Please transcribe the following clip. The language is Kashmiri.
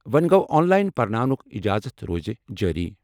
وۄنٛہِ گوٚو، آن لایِن پرناونُک اِجازت روزِ جٲری۔